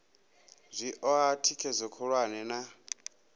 zwi oa thikhedzo khulwane na